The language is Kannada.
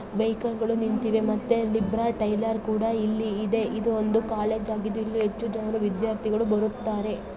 ವೆಹಿಕಲ್ ಗಳು ನಿಂತಿವೆ ಮತ್ತೆ ಲಿಂಬ್ರಾ ಟೈಲರ್ ಕೂಡ ಇಲ್ಲಿ ಇದೆ ಇದು ಒಂದು ಕಾಲೇಜು ಆಗಿದ್ದು ಇಲ್ಲಿ ಹೆಚ್ಚು ಜನರು ವಿದ್ಯಾರ್ಥಿಗಳು ಬರುತ್ತಾರೆ.